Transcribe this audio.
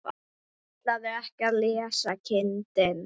Ætlarðu ekki að lesa kindin?